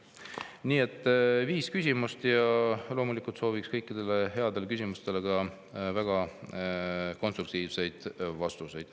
Nii et viis küsimust ja loomulikult sooviks kõikidele nendele headele küsimustele väga konstruktiivseid vastuseid.